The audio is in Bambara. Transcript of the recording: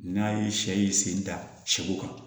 N'a ye sɛ yi sen da sɛw kan